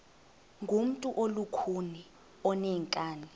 ngumntu olukhuni oneenkani